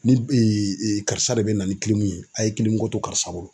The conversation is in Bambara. Ni karisa de be na ni ye , a ye to karisa bolo.